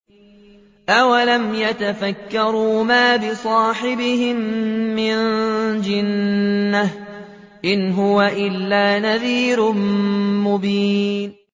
أَوَلَمْ يَتَفَكَّرُوا ۗ مَا بِصَاحِبِهِم مِّن جِنَّةٍ ۚ إِنْ هُوَ إِلَّا نَذِيرٌ مُّبِينٌ